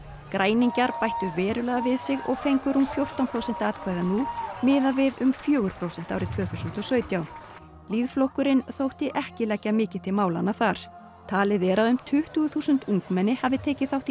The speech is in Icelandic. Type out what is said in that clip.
græningjar bættu verulega við sig og fengu rúm fjórtán prósent atkvæða nú miðað við um fjögur prósent árið tvö þúsund og sautján þótti ekki leggja mikið til málanna þar talið er að um tuttugu þúsund ungmenni hafi tekið þátt í